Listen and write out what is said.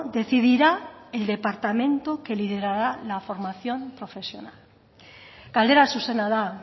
decidirá el departamento que liderara la formación profesional galdera zuzena da